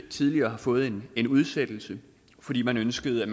tidligere fået en en udsættelse fordi man ønskede